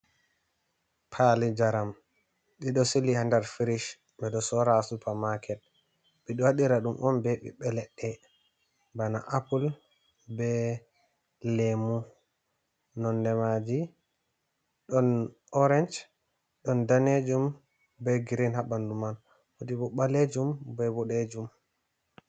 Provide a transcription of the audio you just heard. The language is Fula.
Paali njaram ɗiɗo Sili ha nder firish ɓeɗo sora ha Supa-maket. Ɓeɗo waɗiradum'on be bibbe ledɗe bana apul be lemu nondemaji ɗon orench, ɗon danejum be gireen ha ɓandu man, wodibo ɓalejum be boɗejum.